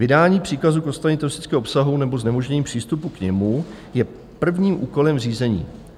Vydání příkazu k odstranění teroristického obsahu nebo znemožnění přístupu k němu je prvním úkolem řízení.